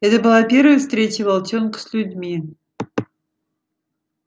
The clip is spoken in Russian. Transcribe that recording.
это была первая встреча волчонка с людьми